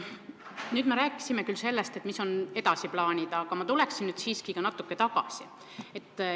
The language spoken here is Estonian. Nüüd me rääkisime küll sellest, mis on edasised plaanid, aga ma tuleksin siiski natuke tagasi.